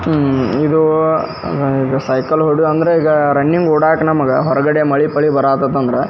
ಆಹ್ಹ್ ಇದು ಸೈಕಲ್ ಹೊಡಿಯುವ ಅಂದ್ರೆ ಈಗ ರನ್ನಿಂಗ್ ಒಡಕ ನಮಗೆ ಮಳೆ ಪಾಳಿ ಬರೋ ಹತತ್ತ್ ಅಂದ್ರೆ --